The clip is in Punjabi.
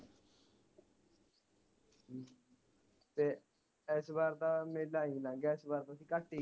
ਤੇ ਇਸ ਵਾਰ ਤਾ ਮੇਲਾ ਈ ਲੰਗ ਗਿਆ ਘਟ ਈ